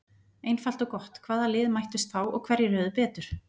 Einfalt og gott: Hvaða lið mættust þá og hverjir höfðu betur?